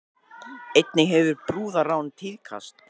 Einnig hefur brúðarrán tíðkast